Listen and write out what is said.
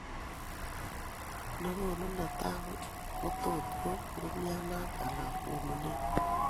Ne koonu netai kotot ko umianet ala konunet